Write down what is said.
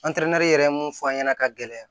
yɛrɛ ye mun fɔ an ɲɛna ka gɛlɛya